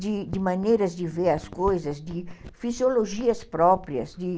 de de maneiras de ver as coisas, de fisiologias próprias, de